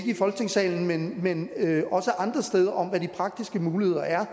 i folketingssalen men også andre steder om hvad de praktiske muligheder er